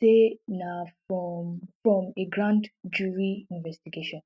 say na from from a grand jury investigation